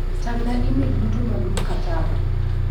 Tang'na imel duto mag Mkataba.